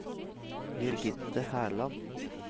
Birgitte Herland